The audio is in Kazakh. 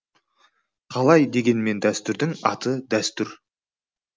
қалай дегенмен дәстүрдің аты дәстүр